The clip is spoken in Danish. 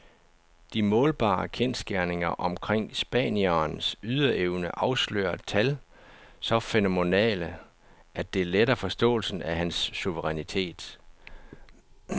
De målbare kendsgerninger omkring spanierens ydeevne afslører tal så fænomenale, at det letter forståelsen af hans suverænitet.